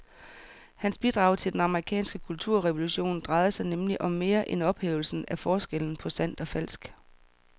Hans bidrag til den amerikanske kulturrevolution drejede sig nemlig om mere end ophævelsen af forskellen på sandt og falsk.